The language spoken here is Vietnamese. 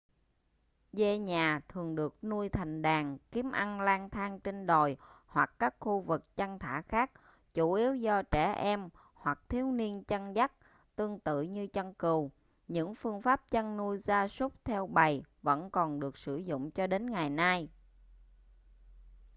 dê nhà thường được nuôi thành đàn kiếm ăn lang thang trên đồi hoặc các khu vực chăn thả khác chủ yếu do trẻ em hoặc thiếu niên chăn dắt tương tự như chăn cừu những phương pháp chăn nuôi gia súc theo bầy vẫn còn được sử dụng cho đến ngày nay